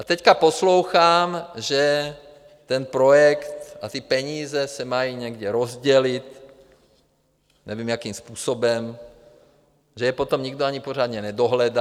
A teď poslouchám, že ten projekt a ty peníze se mají někde rozdělit, nevím, jakým způsobem, že je potom nikdo ani pořádně nedohledá.